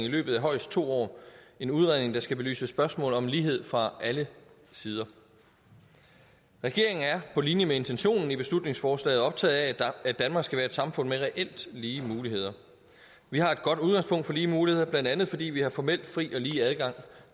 i løbet af højst to år en udredning der skal belyse spørgsmål om lighed fra alle sider regeringen er på linje med intentionen i beslutningsforslaget optaget af at danmark skal være et samfund med reelt lige muligheder vi har et godt udgangspunkt for lige muligheder blandt andet fordi vi har formelt fri og lige adgang